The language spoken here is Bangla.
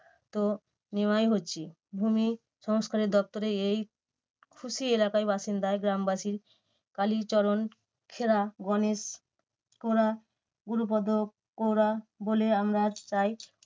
তো নেওয়াই হচ্ছে। ভুমিসংস্কারের দপ্তরে এই খুশি এলাকার বাসিন্দা গ্রামবাসী কালীচরণ খেরা, গণেশ তোরা, গুরুপদ কোরা বলে আন্দাজ তাই